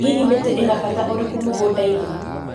ĩ hihi mĩtĩ ĩna mbata ũrĩkũ mũgũndainĩ